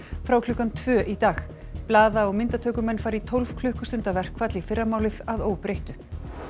frá klukkan tvö í dag blaða og myndatökumenn fara í tólf klukkustunda verkfall í fyrramálið að óbreyttu